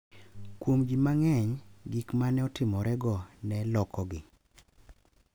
Kuom ji mang’eny, gik ma ne otimorego ne lokogi,